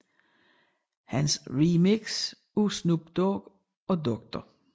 Hans remix af Snoop Dogg og Dr